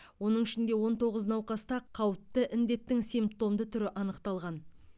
оның ішінде он тоғыз науқаста қауіпті індеттің симптомды түрі анықталған